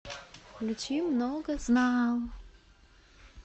включи многознаал